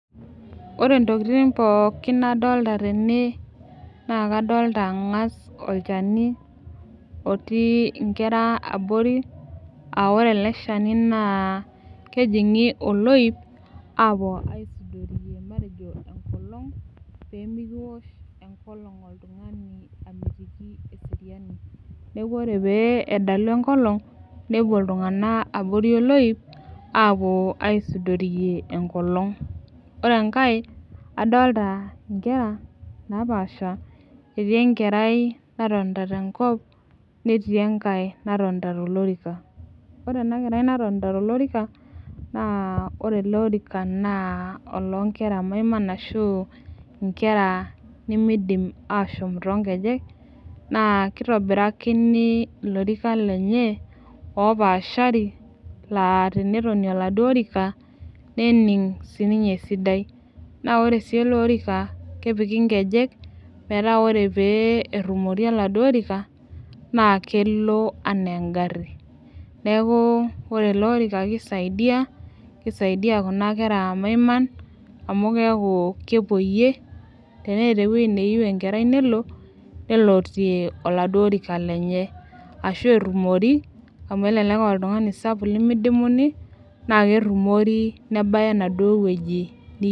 Ore intokiting pookin nadolta tene naa kadolta ang'as olchani otii inkera abori aore ele shani naa kejing'i oloip apuo aisudoriyie matejo enkolong pee mikiwosh enkolong oltung'ani amitiki eseriani neku ore pee edalu enkolong nepuo iltung'ana abori oloip apuo aisudoriyie enkolong ore enkae adolta inkera napaasha etii enkerai natonta tenkop netii enkae natonta tolorika ore ena kerai natonta toorika naa ore ele orika naa olonkera maiman ashu inkera nimidim ashom tonkejek naa kitobirakini ilorikan lenye opaashari laa tenetonie oladuo orika nening sininye esidai naa ore sii ele orika kepiki inkejek metaa ore pee errumori oladuo orika naa kelo anaa engarri neku ore ele orika kisaidia kisaidia kuna kera maiman amu keeku kepuoyie ateneeta ewuei neyieu enkerai nelotie oladuo orika lenye ashu errumori amu elelek oltung'ani sapuk limidimuni naa kerrumori nebaya enaduo wueji ni.